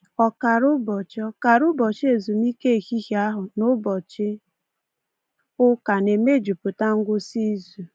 Ọkara ụbọchị Ọkara ụbọchị ezumike ehihie ahụ na ụbọchị ụka na-emejupụta ngwụsị izu.